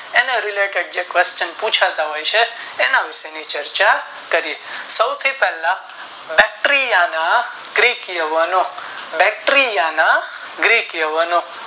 અને જે question પુછાતા હોય છે તેની વિષે ની ચર્ચા કરીયે સોથી પહેલા બત્રિયાણાં ગ્રીક લેવાનો બત્રિયાણાં ગ્રીક લેવાનો